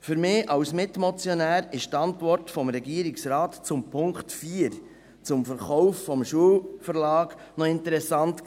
Für mich als Mitmotionär war die Antwort des Regierungsrates zum Punkt 4, zum Verkauf des Schulverlags, noch interessant.